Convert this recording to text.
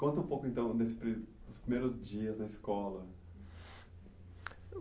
Conta um pouco então desse pri, dos primeiros dias na escola. Eu